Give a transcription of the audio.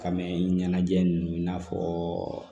Ka mɛn ɲɛnajɛ ninnu i n'a fɔ